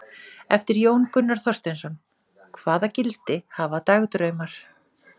Eftir Jón Gunnar Þorsteinsson: Hvaða gildi hafa dagdraumar?